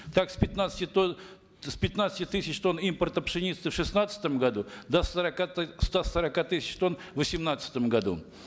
так с пятнадцати тонн с пятнадцати тысяч тонн импорта пшеницы в шестнадцатом году до сорока ста сорока тысяч тонн в восемнадцатом году